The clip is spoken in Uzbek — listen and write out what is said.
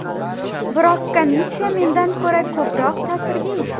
Biroq komissiya mendan ko‘ra ko‘proq ta’sirga ega.